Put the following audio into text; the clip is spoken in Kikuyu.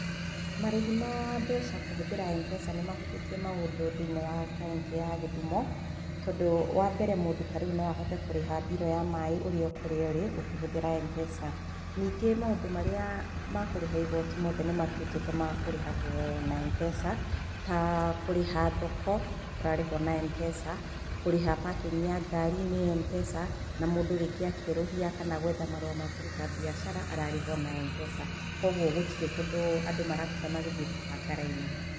Marĩhi ma mbeca kũhũthĩra Mpesa nĩ mahũthĩtie maũndũ thĩiniĩ wa kauntĩ ya Gĩthumo. Tondũ wa mbere mũndũ no ahote kũrĩha mbiru ya maĩ ũrĩ o kũrĩa ũrĩ ũkĩhũthĩra Mpesa . Ningĩ maũndũ marĩa ma kũrĩha igoti mothe nĩ matuĩkĩte ma kũrĩhwo na Mpesa , ta kũrĩha thoko, kũrarĩhwo na Mpesa , kũrĩha parking ya ngari nĩ Mpesa na rĩmgĩ mũndũ akĩerũhia kana gwetha marũa ma kũruta mbiacara ararĩha ona . Kwoguo gũtirĩ kũndũ andũ maratinda magĩthiĩ kũbanga raini.